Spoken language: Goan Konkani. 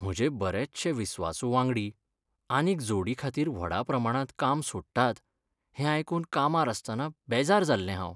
म्हजे बरेचशे विस्वासु वांगडी आनीक जोडीखातीर व्हडा प्रमाणांत काम सोडटात हें आयकून कामार आसतना बेजार जाल्लें हांव.